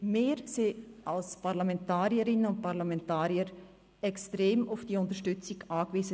Denn wir als Parlamentarierinnen und Parlamentarier sind extrem auf diese Unterstützung angewiesen.